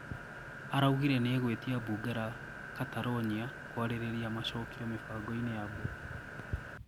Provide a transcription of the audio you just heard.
Araugire nieguitia bunge la Catalonia kũaririria macokio mibango-ini ya Bwa Rajoy.